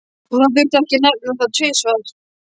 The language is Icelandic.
Og það þurfti ekki að nefna það tvisvar.